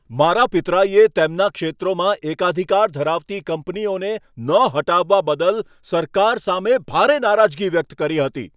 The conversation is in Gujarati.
મારા પિતરાઈએ તેમના ક્ષેત્રોમાં એકાધિકાર ધરાવતી કંપનીઓને ન હટાવવા બદલ સરકાર સામે ભારે નારાજગી વ્યક્ત કરી હતી.